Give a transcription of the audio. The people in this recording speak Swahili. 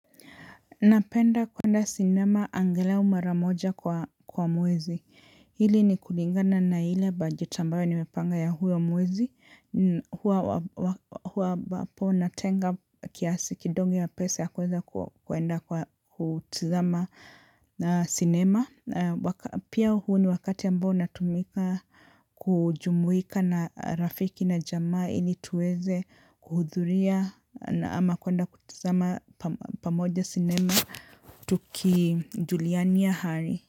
Napenda kwenda sinema angelau maramoja kwa mwezi. Hili ni kulingana na hile bajeti ambayo nimepanga ya huo mwezi. Huwa ambapo natenga kiasi kidogo ya pesa ya kuweza kuenda kutazama sinema. Pia huu ni wakati ambao natumika kujumuika na rafiki na jamaa ili tuweze kuhudhuria na ama kwenda kutuzama pamoja sinema tuki julianis ya hali.